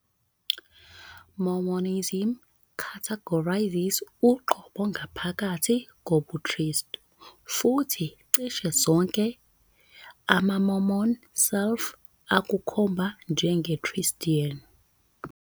Mormonism categorizes uqobo ngaphakathi kobuKristu, futhi cishe zonke amaMormon self-ukukhomba njenge Christian.